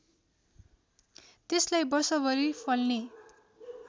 त्यसलाई वर्षभरि फल्ने